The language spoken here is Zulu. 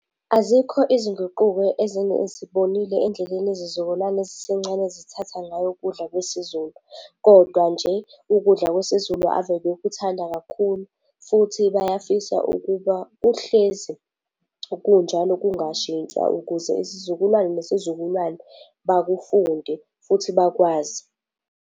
Azikho izinguquko endleleni yezizukulwane ezisencane ezithatha ngayo ukudla kwesiZulu. Kodwa nje, ukudla kwesiZulu ave bekuthanda kakhulu, futhi bayafisa ukuba kuhlezi kunjalo kungashintshwa ukuze isizukulwane nesizukulwane, bakufunde futhi bakwazi.